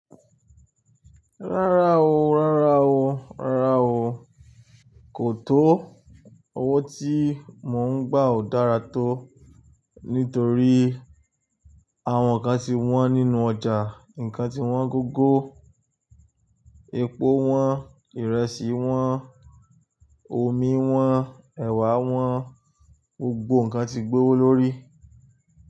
Rárá o, rárá o, rárá o. Kò tó. Owó tí mò ń gbà ò dára tó nítorí àwọn nǹkan ti wọ́n nínú ọjà, nǹkan ti wọ́n gógó. Epo wọ́n, ìrẹsì wọ́n, omi wọ́n, ẹ̀wà wọ́n, gbogbo nǹkan ti gbowó lórí.